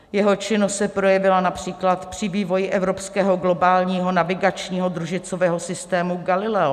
Jeho činnost se projevila například při vývoji evropského globálního navigačního družicového systému Galileo.